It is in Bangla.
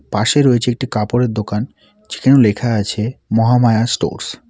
পাশে রয়েছে একটি কাপড়ের দোকান যেখানে লেখা আছে মহামায়া স্টোরস ।